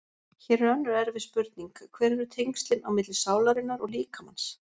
Hér er önnur erfið spurning: Hver eru tengslin á milli sálarinnar og líkamans?